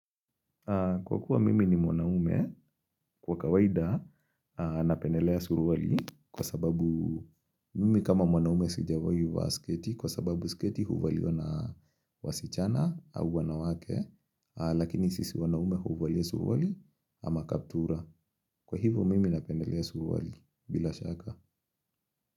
Kwa kuwa mimi ni mwanaume, kwa kawaida napendelea suruali kwa sababu mimi kama mwanaume sijawahi vaa sketi kwa sababu sketi huvaliwa na wasichana au wanawake lakini sisi mwanaume huvalia suruali ama kaptura. Kwa hivo mimi napendelea suruali bila shaka.